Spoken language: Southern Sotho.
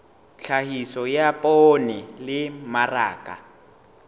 tlhahiso ya poone le mmaraka